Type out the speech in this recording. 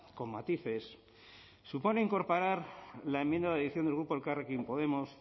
con matices supone incorporar la enmienda de adición del grupo elkarrekin podemos